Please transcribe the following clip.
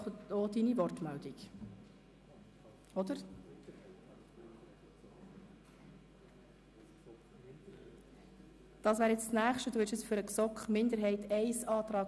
Danach wird sich der Kommissionspräsident äussern, gefolgt von den Fraktionen.